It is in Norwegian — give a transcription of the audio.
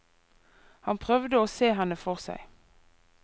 Han prøvde å se henne for seg.